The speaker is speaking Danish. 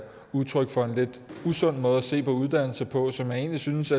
udtryk for en lidt usund måde at se på uddannelser på som jeg egentlig synes